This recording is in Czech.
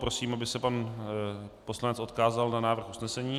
Prosím, aby se pan poslanec odkázal na návrh usnesení.